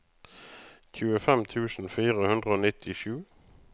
tjuefem tusen fire hundre og nittisju